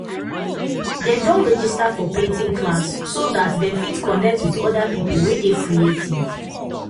dem don register for painting class so dat dem fit connect with other people wey dey creative